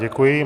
Děkuji.